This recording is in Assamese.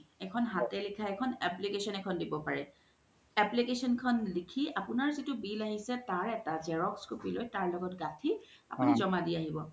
এখন হাতে লিখা এখন application দিব পাৰে application খন লিখি আপুনাৰ জিতু bill আহিছে তাৰ এটা xerox copy তাৰ ল্গ্ত গাথি আপুনি জমা দি আহিব